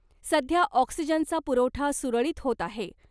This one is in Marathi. सध्या ऑक्सिजनचा पुरवठा सुरळीत होत आहे .